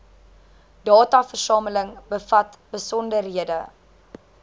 dataversameling bevat besonderhede